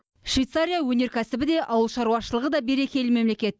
швейцария өнеркәсібі де ауыл шаруашылығы да берекелі мемлекет